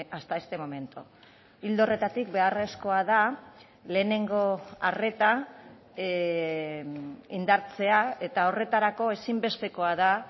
hasta este momento ildo horretatik beharrezkoa da lehenengo arreta indartzea eta horretarako ezinbestekoa da